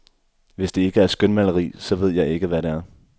Hvis det ikke er skønmaleri, så ved jeg ikke hvad det er.